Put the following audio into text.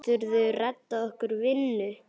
Geturðu reddað okkur vinnu?